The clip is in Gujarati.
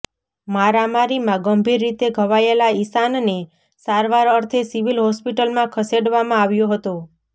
મારામારીમાં ગંભીર રીતે ઘવાયેલા ઈશાનને સારવાર અર્થે સિવિલ હોસ્પિટલમાં ખસેડવામાં આવ્યો હતો